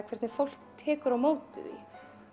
hvernig fólk tekur á móti því